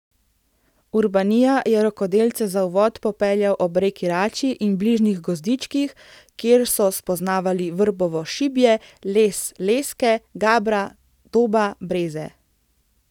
Urbanija je rokodelce za uvod popeljal ob reki Rači in bližnjih gozdičkih, kjer so spoznavali vrbovo šibje, les leske, gabra, doba, breze...